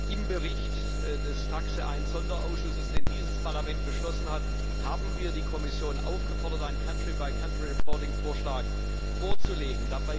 Im Bericht des TAXE 1 Sonderausschusses, den dieses Parlament beschlossen hat, haben wir die Kommission aufgefordert, einen Vorschlag vorzulegen.